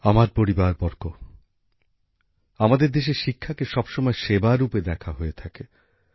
আমার পরিবারবর্গ আমাদের দেশে শিক্ষাকে সবসময় সেবা রূপে দেখা হয়ে থাকে